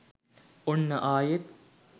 ඔන්න ආයෙත්